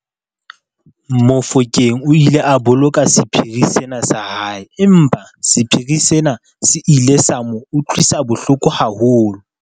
Mofokeng o ile a boloka sephiri sena sa hae empa sephiri sena se ile sa mo utlwisa bohloko haholo.